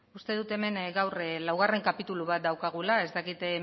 uste dut hemen gaur laugarren kapitulu bat daukagula ez dakit